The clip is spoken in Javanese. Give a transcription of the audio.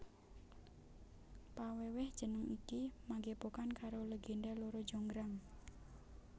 Pawèwèh jeneng iki magepokan karo legenda Loro Jonggrang